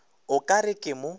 o ka re ke mo